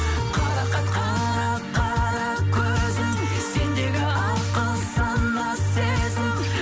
қарақат қара қара көзің сендегі ақыл сана сезім